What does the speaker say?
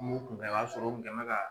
mun kun kɛ o y'a sɔrɔ u kun kɛnbɛ ka